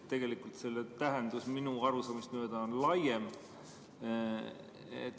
Tegelikult on selle tähendus minu arusaamist mööda laiem.